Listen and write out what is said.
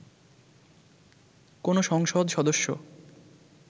কোনো সংসদ সদস্য